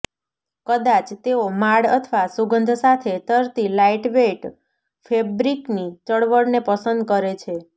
કદાચ તેઓ માળ અથવા સુગંધ સાથે તરતી લાઇટવેઇટ ફેબ્રિકની ચળવળને પસંદ કરે છે